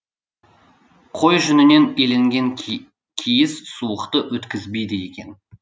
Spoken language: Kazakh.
қой жүнінен иленген киіз суықты өткізбейді екен